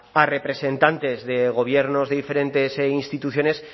a representantes de gobiernos de diferentes instituciones